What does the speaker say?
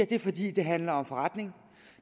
det er fordi det handler om forretning